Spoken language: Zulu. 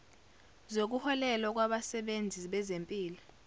zokuholelwa kwabasebenzi bezempilo